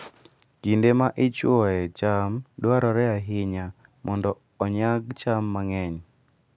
Kinde ma ichwoyoe cham dwarore ahinya mondo onyag cham mang'eny.